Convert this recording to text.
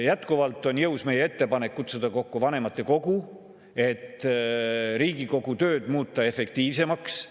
Jätkuvalt on jõus meie ettepanek kutsuda kokku vanematekogu, et muuta Riigikogu tööd efektiivsemaks.